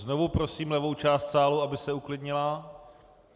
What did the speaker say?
Znovu prosím levou část sálu, aby se uklidnila.